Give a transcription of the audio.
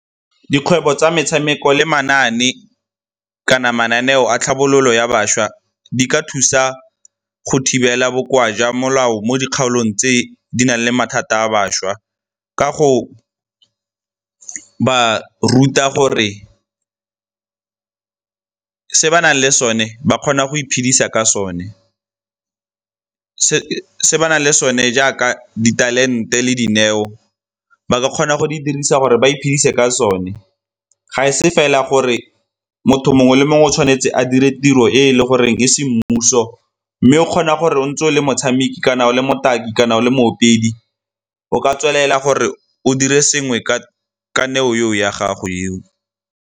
Dikgwebo tsa metshameko le manaane kana mananeo a tlhabololo ya bašwa di ka thusa go thibela bokoa jwa molao mo dikgaolong tse di nang le mathata a bašwa ka go ba ruta gore se ba nang le sone ba kgona go iphedisa ka sone. Se ba nang le sone jaaka di talente le dineo ba kgona go di dirisa gore ba iphedise ka sone, ga e se fela gore motho mongwe le mongwe o tshwanetse a dire tiro e e le goreng e semmuso mme o kgona gore o ntse o le motshameki kana o le motaki kana o le moopedi o ka tswelela gore o dire sengwe ka neo yeo ya gago yeo.